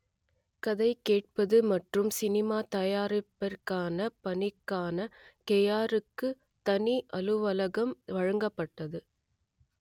கதை கேட்பது மற்றும் சினிமா தயாரிப்பிற்கான பணிக்கான கேயாருக்கு தனி அலுவலகம் வழங்கப்பட்டது